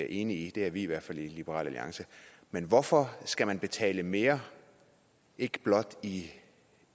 enige i det er vi i hvert fald i liberal alliance men hvorfor skal man betale mere ikke blot i